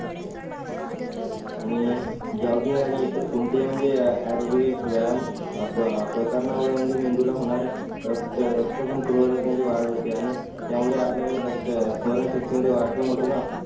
आणि जॉगिंग आणि इतर कोणत्याही म्हणजे एरोबिक व्यायाम अ अ प्रकारणा मुळे म्हणजे मेंदूला होणार रक्त रक्त पण पुरवण्यात म्हणजे वाढ होते आणि त्या मुळे आपलं म्हणजे रक्त स्मरण सक्ती मद्ये वाढ पण होते ना